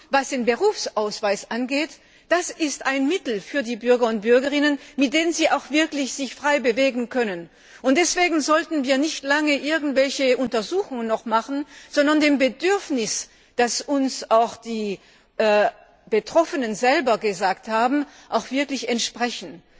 Was den Berufsausweis angeht, das ist ein Mittel für die Bürgerinnen und Bürger, mit dem sie sich wirklich frei bewegen können, und deswegen sollten wir nicht lange noch irgendwelche Untersuchungen machen, sondern dem Bedürfnis, das uns die Betroffenen selbst mitgeteilt haben, wirklich entsprechen.